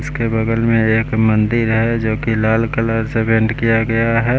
उसके बगल में एक मंदिर है जो की लाल कलर से पेंट किया गया है।